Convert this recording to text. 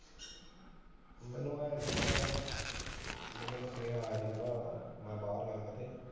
ਮੈਨੂੰ ਐ ਸੀ ਮੈਨੂੰ ਸੁਨੇਹਾ ਆਇਆ ਸੀ ਕਿ ਮੈਂ ਬਾਹਰ ਐ